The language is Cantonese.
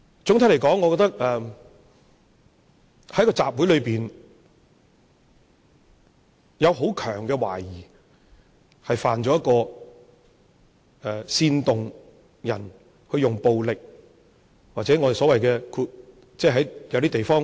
總的來說，我覺得在集會上，是有很強的懷疑，懷疑他犯了煽動他人使用暴力，或在某些地方所指的 hate crime。